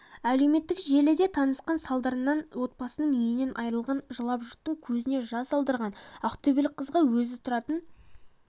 әлеуметтік желіде тасқын салдарынан отбасының үйінен айырылғанына жылап жұрттың көзіне жас алдырған ақтөбелік қызға өзі тұратын